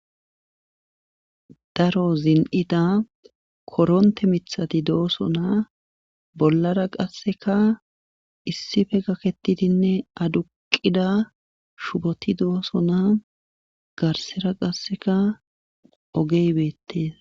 Daro zin7ida konthe mithati doosona bollara qassika issipe gakettidinne aduqqida shuboti doosona garssera qassika ogee beettes.